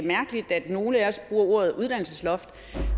mærkeligt at nogle af os bruger ordet uddannelsesloft